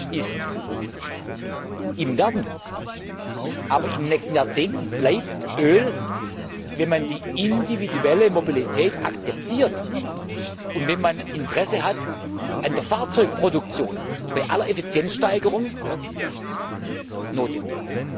ist im Werden, aber in den nächsten Jahrzehnten bleibt Öl wenn man die individuelle Mobilität akzeptiert, und wenn man an der Fahrzeugproduktion Interesse hat bei aller Effizienzsteigerung notwendig.